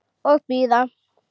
Og bíða.